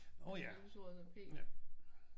Nå ja. Ja